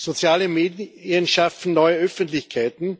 Soziale Medien schaffen neue Öffentlichkeiten,